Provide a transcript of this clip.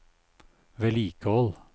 vedlikehold